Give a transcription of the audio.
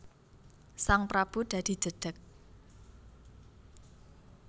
Sang prabu dadi jedheg